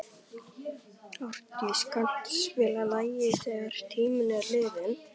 Árdís, kanntu að spila lagið „Þegar tíminn er liðinn“?